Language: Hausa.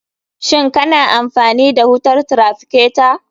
Shin kana amfani da wutar traficatar?